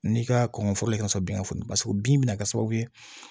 N'i ka kɔngɔ foro ye ka sɔrɔ bin ka funu paseke bin bɛna kɛ sababu ye